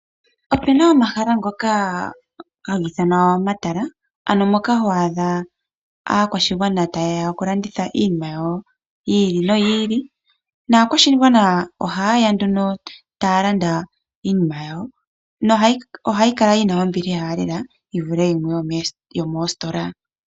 Opuna omahala ngoka haga ithanwa omatala, ano moka ho adha aakwashigwana ta yeya oku landitha iinima yawo yi ili no yo ili, naakwashigwana oha yeya nduno taya landa iinima yawo, no ohayi kala yina ombiliha lela yivule yomoositola.